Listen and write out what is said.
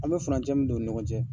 An bɛ furancɛ min don u ni ɲɔgɔn cɛ.